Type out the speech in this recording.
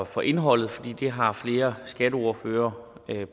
for indholdet for det har flere skatteordførere